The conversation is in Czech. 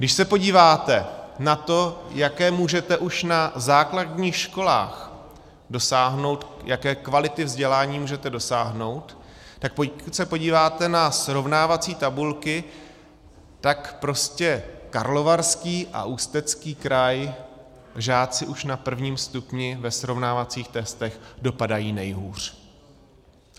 Když se podíváte na to, jaké můžete už na základních školách dosáhnout, jaké kvality vzdělání můžete dosáhnout, tak když se podíváte na srovnávací tabulky, tak prostě Karlovarský a Ústecký kraj, žáci už na prvním stupni ve srovnávacích testech dopadají nejhůř.